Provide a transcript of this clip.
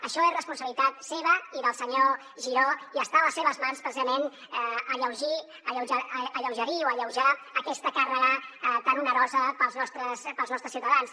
això és responsabilitat seva i del senyor giró i està a les seves mans precisament alleugerir o alleujar aquesta càrrega tan onerosa per als nostres ciutadans